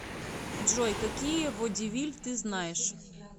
джой какие водевиль ты знаешь